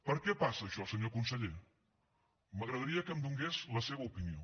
per què passa això senyor conseller m’agradaria que em donés la seva opinió